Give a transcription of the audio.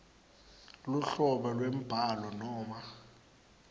luhlobo lwembhalo noma